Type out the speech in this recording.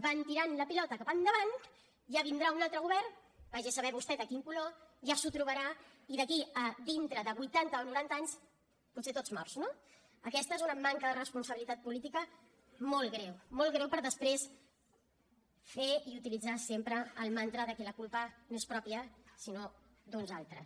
van tirant la pilota cap endavant ja vindrà un altre govern vagi a saber vostè de quin color ja s’ho trobarà i d’aquí a dintre de vuitanta o noranta anys potser tots morts no aquesta és una manca de responsabilitat política molt greu molt greu per després fer i utilitzar sempre el mantra de que la culpa no és pròpia sinó d’uns altres